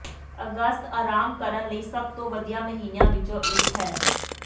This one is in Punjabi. ਅਗਸਤ ਆਰਾਮ ਕਰਨ ਲਈ ਸਭ ਤੋਂ ਵਧੀਆ ਮਹੀਨਿਆਂ ਵਿੱਚੋਂ ਇੱਕ ਹੈ